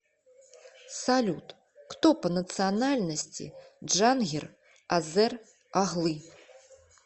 салют кто по национальности джангир азер оглы